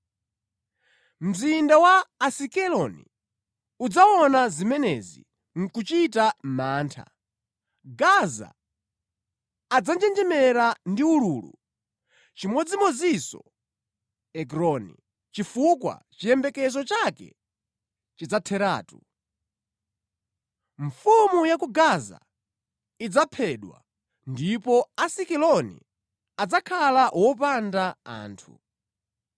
Mzinda wa Asikeloni udzaona zimenezi, nʼkuchita mantha; Gaza adzanjenjemera ndi ululu, chimodzimodzinso Ekroni, chifukwa chiyembekezo chake chidzatheratu. Mfumu ya ku Gaza idzaphedwa ndipo Asikeloni adzakhala opanda anthu.